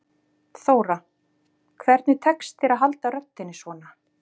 Þóra: Hvernig tekst þér að halda röddinni svona?